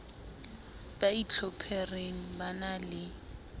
ba itlhophereng ba na le